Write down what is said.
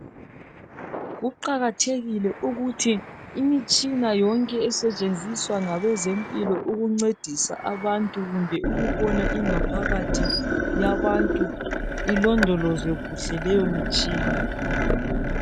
Kuqakathekile ukuthi imitshina yonke esetshenziswa ngabezempilo ukuncedisa abantu kumbe ukubona ingaphakathi yabantu ilondolozwe kuhle leyo mtshina.